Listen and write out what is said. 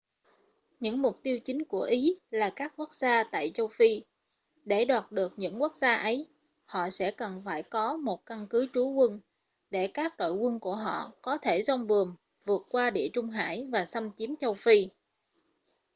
những mục tiêu chính của ý là các quốc gia tại châu phi để đoạt được những quốc gia ấy họ sẽ cần phải có một căn cứ trú quân để các đội quân của họ có thể giong buồm vượt qua địa trung hải và xâm chiếm châu phi